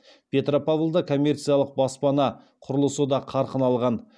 петропавлда коммерциялық баспана құрылысы да қарқын алған